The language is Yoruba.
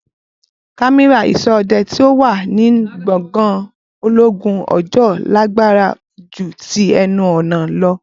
cámérà ìsọ́ òde tí o wà nínú gbògàn ológun òjòó lágbára jù tí ẹnu ọ̀nà lọ